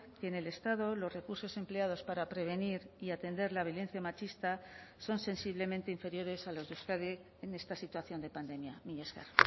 que en el estado los recursos empleados para prevenir y atender la violencia machista son sensiblemente inferiores a los de euskadi en esta situación de pandemia mila esker